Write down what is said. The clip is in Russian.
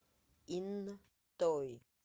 интой